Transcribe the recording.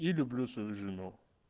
я люблю свою жену